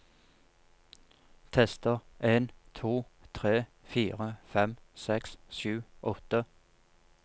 Tester en to tre fire fem seks sju åtte